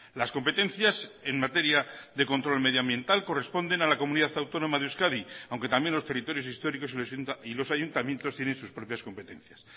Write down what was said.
las competencias en materia de control medioambiental corresponden a la comunidad autónoma de euskadi aunque también los territorios históricos y los ayuntamientos tienen sus propias competencias